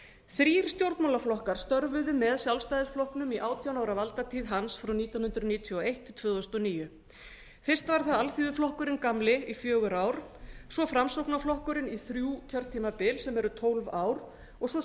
þrír stjórnmálaflokkar störfuðu með sjálfstæðisflokknum í átján ára valdatíð hans frá nítján hundruð níutíu og eitt til tvö þúsund og níu fyrst var það alþýðuflokkurinn gamli í fjögur ár svo framsóknarflokkurinn í þrjú kjörtímabil sem eru tólf ár og svo